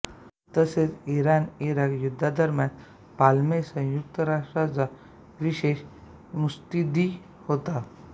तसेच इराणइराक युद्धादरम्यान पाल्मे संयुक्त राष्ट्रांचा विशेष मुत्सदी होता